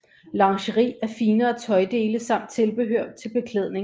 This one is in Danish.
Lingeri er finere tøjdele samt tilbehør til beklædning